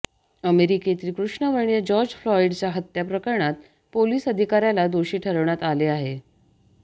अमेरिकेतील कृष्णवर्णीय जॉर्ज फ्लाएडच्या हत्या प्रकरणात पोलीस अधिकाऱ्याला दोषी ठरवण्यात आले आहे